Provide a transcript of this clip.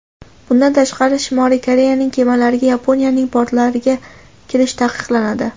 Bundan tashqari Shimoliy Koreyaning kemalariga Yaponiyaning portlariga kirish taqiqlanadi.